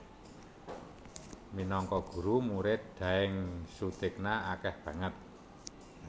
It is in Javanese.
Minangka guru Murid Daeng Soetigna akeh banget